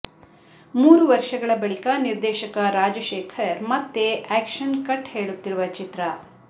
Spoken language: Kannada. ಮೂರು ವರ್ಷಗಳ ಬಳಿಕ ನಿರ್ದೇಶಕ ರಾಜಶೇಖರ್ ಮತ್ತೆ ಆಕ್ಷನ್ ಕಟ್ ಹೇಳುತ್ತಿರುವ ಚಿತ್ರ